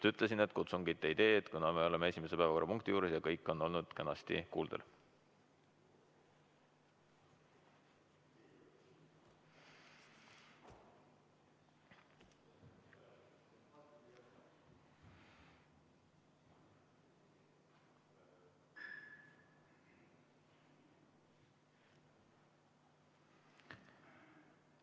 Ma ütlesin, et ma kutsungit ei tee, kuna me oleme esimese päevakorrapunkti juures ja kõik on kenasti kuuldel.